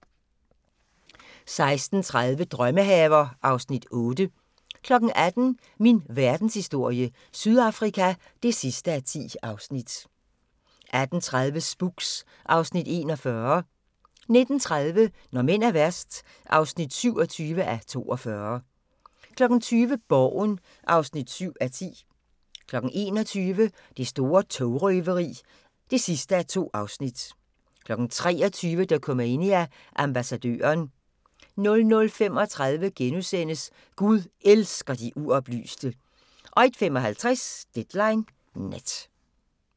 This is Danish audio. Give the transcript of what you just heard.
16:30: Drømmehaver (Afs. 8) 18:00: Min verdenshistorie - Sydafrika (10:10) 18:30: Spooks (Afs. 41) 19:30: Når mænd er værst (27:42) 20:00: Borgen (7:10) 21:00: Det store togrøveri (2:2) 23:00: Dokumania: Ambassadøren 00:35: Gud elsker de uoplyste * 01:55: Deadline Nat